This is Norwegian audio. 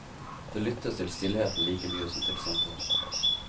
Det lyttes til stillheten like mye som til samtalen.